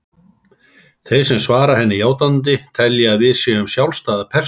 Þeir sem svara henni játandi telja að við séum sjálfstæðar persónur.